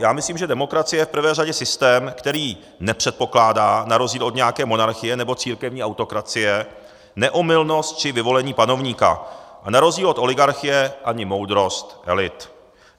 Já myslím, že demokracie je v prvé řadě systém, který nepředpokládá na rozdíl od nějaké monarchie nebo církevní autokracie neomylnost či vyvolení panovníka a na rozdíl od oligarchie ani moudrost elit.